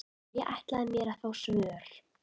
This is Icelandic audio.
Ég ætlaði mér að fá svör.